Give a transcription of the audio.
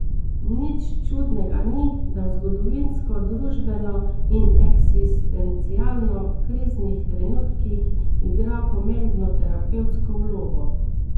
Nič čudnega ni, da v zgodovinsko, družbeno in eksistencialno kriznih trenutkih igra pomembno terapevtsko vlogo.